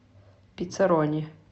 пиццарони